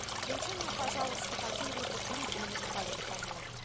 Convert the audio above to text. включи мне пожалуйста какие либо клипы на музыкальном канале